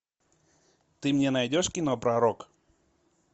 ты мне найдешь кино пророк